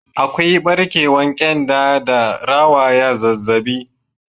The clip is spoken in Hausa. Akwai barkewan kyanda da rawaya zazzabi.